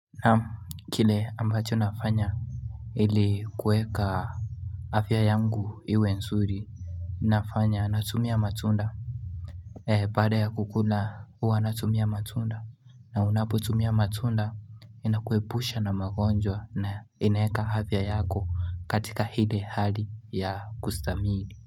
Na kile ambacho nafanya ile kueka afya yangu iwe nzuri inafanya natumia matunda Pada ya kukuna uwa natumia matunda na unapo tumia matunda inakuepusha na magonjwa na inaeka havia yako katika hile hali ya kustamili.